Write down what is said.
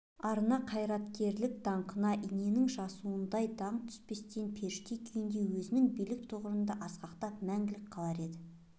арына қайраткерлік даңқына иненің жасуындай дақ түспестен періште күйінде өзінің биік тұғырында асқақтап мәңгілік қалар еді